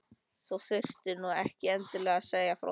Þú þurftir nú ekki endilega að segja frá því